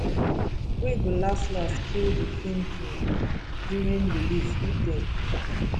wey go laslas kill di feem feem during release if dem